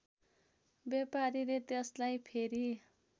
व्यापारीले त्यसलाई फेरि